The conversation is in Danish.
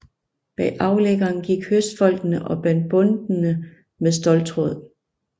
Bag aflæggeren gik høstfolkene og bandt bundtene med ståltråd